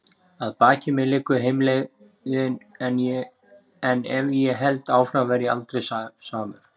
Að baki mér liggur heimleiðin- en ef ég held áfram verð ég aldrei samur.